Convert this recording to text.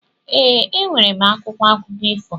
E, e nwere m akwụkwọ akụkọ ifo.